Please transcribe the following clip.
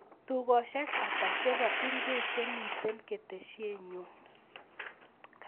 Tugoshek ata chebo ingwek chemiten ketesienyun